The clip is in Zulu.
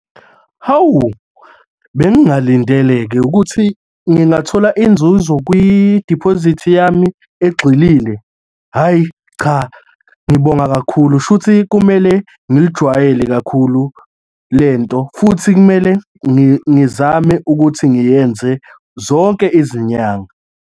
Hawu! Bengingalindele-ke ukuthi ngingathola inzuzo kwi-deposit yami egxilile. Hhayi cha, ngibonga kakhulu, shuthi kumele ngilijwayele kakhulu lento futhi kumele ngizame ukuthi ngiyenze zonke izinyanga.